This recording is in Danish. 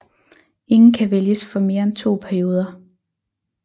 Ingen kan vælges for mere end to perioder